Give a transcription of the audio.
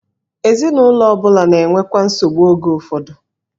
Ezinụlọ ọ bụla na-enwekwa nsogbu oge ụfọdụ.